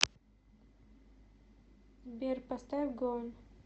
сбер поставь гон